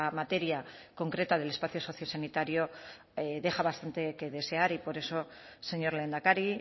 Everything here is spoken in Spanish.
materia concreta del espacio sociosanitario deja bastante que desear y por eso señor lehendakari